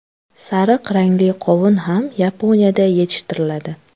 Sariq rangli qovun ham Yaponiyada yetishtiriladi.